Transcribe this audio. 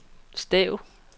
stav